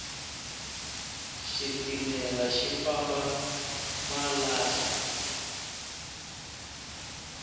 xitimela xi famba malahla